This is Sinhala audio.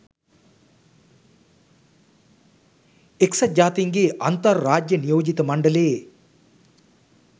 එක්සත් ජාතීන්ගේ අන්තර් රාජ්‍ය නියෝජිත මණ්ඩලයේ